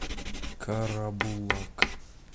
карабулак